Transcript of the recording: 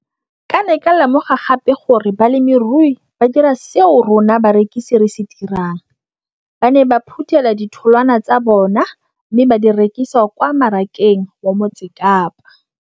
Ke ne ka lemoga gape gore balemirui ba dira seo rona barekisi re se dirang - ba ne ba phuthela ditholwana tsa bona mme ba di rekisa kwa marakeng wa Motsekapa.